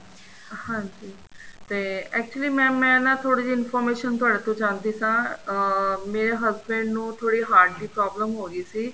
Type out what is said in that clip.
ਹਾਂਜੀ ਤੇ actually mam ਮੈਂ ਨਾ ਥੋੜੀ ਜੀ information ਤੁਹਾਡੇ ਤੋਂ ਜਾਨਣਾ ਚਾਹੰਦੀ ਸਾਂ ਅਹ ਮੇਰੇ husband ਨੂੰ ਥੋੜੀ heart ਦੀ problem ਹੋ ਗਈ ਸੀ